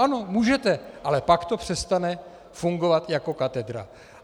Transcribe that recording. Ano, můžete, ale pak to přestane fungovat jako katedra.